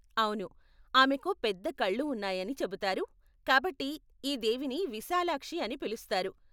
అవును, ఆమెకు పెద్ద కళ్ళు ఉన్నాయని చెబుతారు కాబట్టి ఈ దేవిని విశాలాక్షి అని పిలుస్తారు.